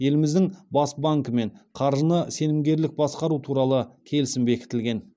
еліміздің бас банкімен қаржыны сенімгерлік басқару туралы келісім бекітілген